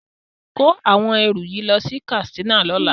Kó àwọn ẹrù yìí lọ sí Katsina lọ́la.